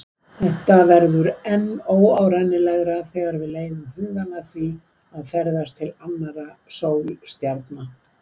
Þetta verður enn óárennilegra þegar við leiðum hugann að því að ferðast til annarra sólstjarna.